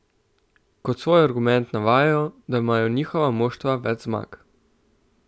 Kot svoj argument navajajo, da imajo njihova moštva več zmag.